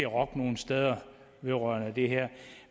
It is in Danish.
rokke nogen steder vedrørende det her